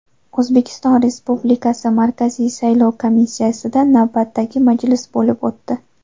O‘zbekiston Respublikasi Markaziy saylov komissiyasida navbatdagi majlis bo‘lib o‘tdi.